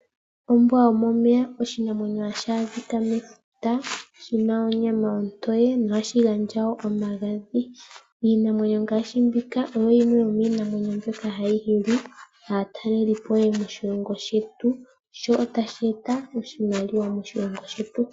Ombwa yomomeya oshinamwenyo hashi adhika mefuta, shi na onyama ontoye nohashi gandja omagadhi. Oshinamwenyo shika osho shimwe shomiinamwenyo mbyoka hayi hili aatalelipo moshilongo shetu, sho otashi eta wo iimaliwa moshilongo shetu.